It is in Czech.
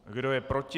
Kdo je proti?